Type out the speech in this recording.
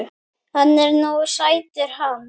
Hann er nú sætur hann